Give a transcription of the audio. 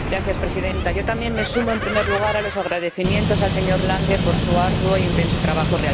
Señora Presidenta, yo también me sumo, en primer lugar, a los agradecimientos al señor Lange por su arduo e intenso trabajo.